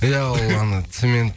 иә ол ана цемент